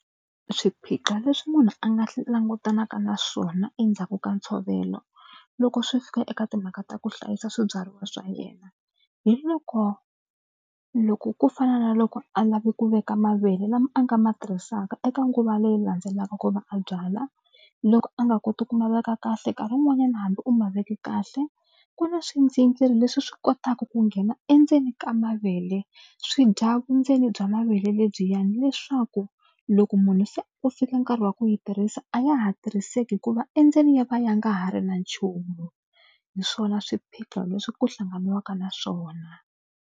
Swiphiqo leswi munhu a nga langutanaka na swona endzhaku ka ntshovelo loko swi fika eka timhaka ta ku hlayisa swibyariwa swa yena hi loko loko ku fana na loko a lave ku veka mavele lama a nga ma tirhisaka eka nguva leyi landzelaka ku va a byala loko a nga koti ku ma veka kahle nkarhi wun'wanyana hambi u ma veke kahle ku na swindzingiri leswi swi kotaka ku nghena endzeni ka mavele swi dya vundzeni bya mavele lebyiwani leswaku loko munhu se ku fika nkarhi wa ku yi tirhisa a ya ha tirhiseki hikuva endzeni ya va ya nga ha ri na nchumu hi swona swiphiqo leswi ku hlanganiwaka na swona.